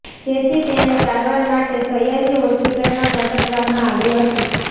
જેથી તેને સારવાર માટે સયાજી હોસ્પિટલમાં ખસેડવામા આવી હતી